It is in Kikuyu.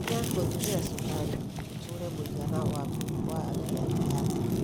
Nyihia gũtũmĩra cukari ũtũrue mũigana waku wa afia ya thakame.